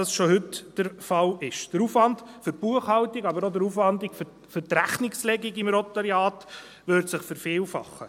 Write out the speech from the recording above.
Der Aufwand für die Buchhaltung, aber auch der Aufwand für die Rechnungslegung im Notariat würde sich vervielfachen.